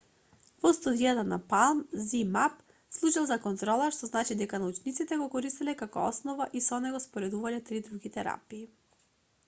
во студијата на palm zmapp служел за контрола што значи дека научниците го користеле како основа и со него споредувале три други терапии